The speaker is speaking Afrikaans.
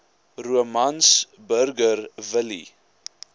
romans burger willie